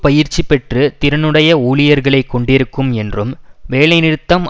பயிற்சி பெற்று திறனுடைய ஊழியர்களை கொண்டிருக்கும் என்றும் வேலைநிறுத்தம்